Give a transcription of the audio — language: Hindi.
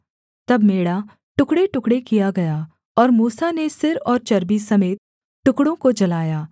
तब मेढ़ा टुकड़ेटुकड़े किया गया और मूसा ने सिर और चर्बी समेत टुकड़ों को जलाया